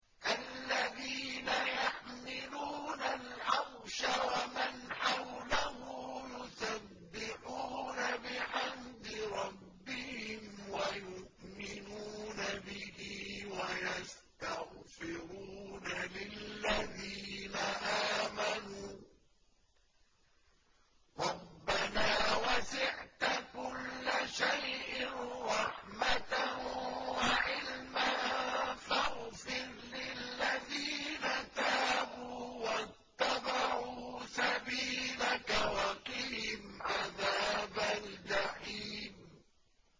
الَّذِينَ يَحْمِلُونَ الْعَرْشَ وَمَنْ حَوْلَهُ يُسَبِّحُونَ بِحَمْدِ رَبِّهِمْ وَيُؤْمِنُونَ بِهِ وَيَسْتَغْفِرُونَ لِلَّذِينَ آمَنُوا رَبَّنَا وَسِعْتَ كُلَّ شَيْءٍ رَّحْمَةً وَعِلْمًا فَاغْفِرْ لِلَّذِينَ تَابُوا وَاتَّبَعُوا سَبِيلَكَ وَقِهِمْ عَذَابَ الْجَحِيمِ